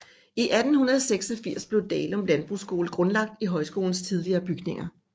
I 1886 blev Dalum Landbrugsskole grundlagt i højskolens tidligere bygninger